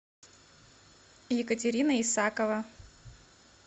екатерина исакова